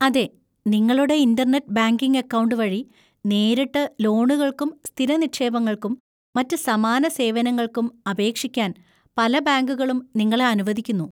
അതെ, നിങ്ങളുടെ internet banking account വഴി നേരിട്ട് ലോണുകൾക്കും സ്ഥിര നിക്ഷേപങ്ങൾക്കും മറ്റ് സമാന സേവനങ്ങൾക്കും അപേക്ഷിക്കാൻ പല ബാങ്കുകളും നിങ്ങളെ അനുവദിക്കുന്നു.